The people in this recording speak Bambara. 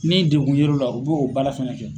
Ni degun yer'u la u b'o baara fana kɛ.